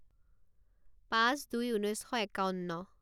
পাঁচ দুই ঊনৈছ শ একাৱন্ন